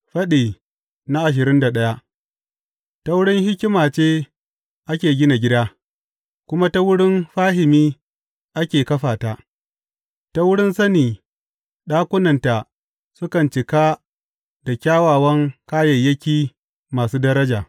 Faɗi ashirin da daya Ta wurin hikima ce ake gina gida, kuma ta wurin fahimi ake kafa ta; ta wurin sani ɗakunanta sukan cika da kyawawan kayayyaki masu daraja.